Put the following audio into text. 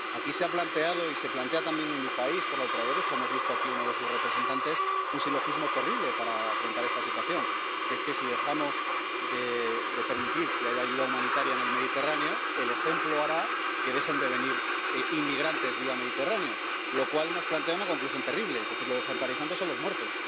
Aquí se ha planteado, y se plantea también en mi país por la ultraderecha —hemos visto aquí a uno de sus representantes—, un silogismo terrible para afrontar esta situación, que es que, si dejamos de permitir que haya ayuda humanitaria en el Mediterráneo, el ejemplo hará que dejen de venir inmigrantes vía Mediterráneo, lo cual nos plantea una conclusión terrible, es decir, lo ejemplarizante son los muertos.